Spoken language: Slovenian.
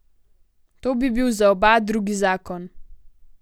To bi bil za oba drugi zakon.